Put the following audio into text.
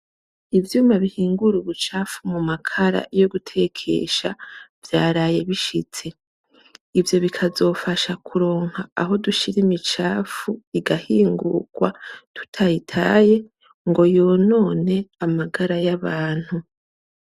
Ivyuma bihingura, ubu cafu mu makara yo gutekesha vyaraye bishitse ivyo bikazofasha kuronka aho dushira imicafu igahingurwa tutayitaye ngo yunone amagara y'abantu.